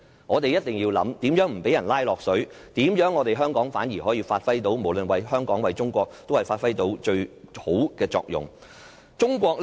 我們一定要思考，如何不被"拉落水"？無論為香港或中國，香港如何發揮到最好的作用？